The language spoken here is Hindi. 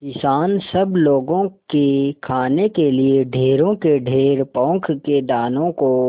किसान सब लोगों के खाने के लिए ढेरों के ढेर पोंख के दानों को